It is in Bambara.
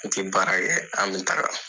N tɛ baara kɛ an bɛ taga